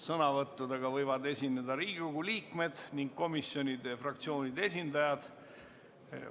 Sõnavõttudega võivad esineda Riigikogu liikmed ning komisjonide ja fraktsioonide esindajad.